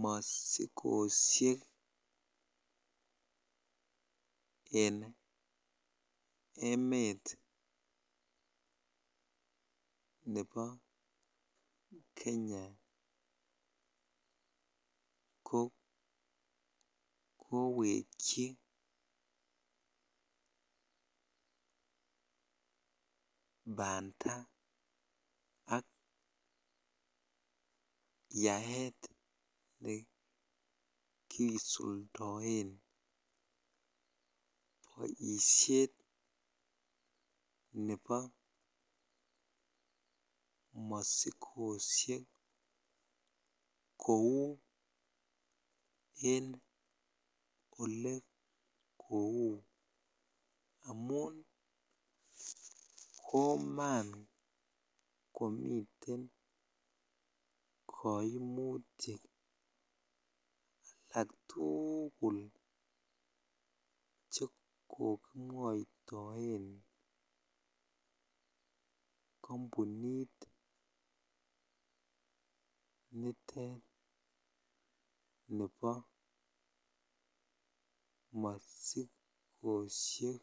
mosikoshek en emet nebo Kenya ko kowekyi banda ak yaet nekisuldoen boishet nebo mosikoshek kouu en olelou amun koman komiten koimutik alak tukul chekokimwoitoen kombunit nitet nebo masikoshek.